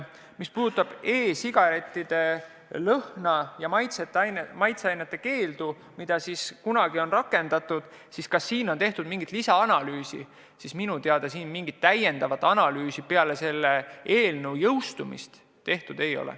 Mis puudutab e-sigarettide lõhna- ja maitseainete keeldu, mis kunagi on rakendatud – et kas on tehtud mingit lisaanalüüsi –, siis minu teada mingit täiendavat analüüsi peale selle eelnõu jõustumist tehtud ei ole.